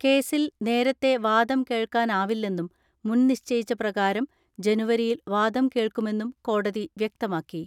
കേസിൽ നേരത്തെ വാദം കേൾക്കാനാവില്ലെന്നും മുൻനിശ്ചപ്രകാരം ജനുവരിയിൽ വാദം കേൾക്കു മെന്നും കോടതി വ്യക്തമാക്കി.